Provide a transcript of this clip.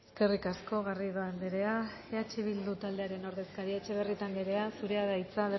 eskerrik asko garrido anderea eh bildu ordezkaria etxebarrieta anderea zurea da hitza